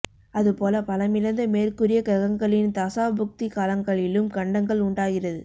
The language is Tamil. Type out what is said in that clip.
அது போல பலமிழந்த மேற்கூறிய கிரகங்களின் தசா புக்தி காலங்களிலும் கண்டங்கள் உண்டாகிறது